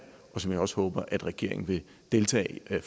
og som jeg også håber at regeringen vil deltage